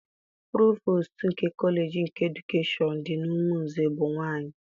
Provostu nke kọleji nke edukeshọn dị n'Umunze bụ nwaanyị.